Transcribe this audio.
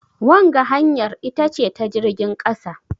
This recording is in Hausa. wanga hanyar ita ce ta jirgin kasa?